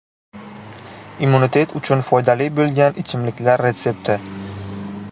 Immunitet uchun foydali bo‘lgan ichimliklar retsepti.